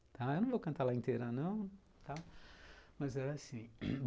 Tá. Eu não vou cantar ela inteira, não, tá, mas era assim.